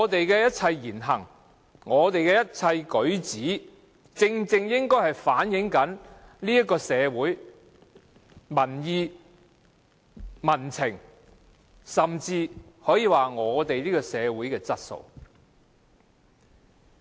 因此，我們的言行舉止，正正應該能反映社會民意、民情，甚至是社會質素。